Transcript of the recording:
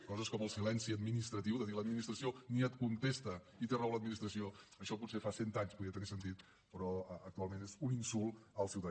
coses com el silenci administratiu de dir l’administració ni et contesta i té raó l’administració això potser fa cent anys podia tenir sentit però actualment és un insult al ciutadà